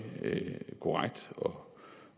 korrekt og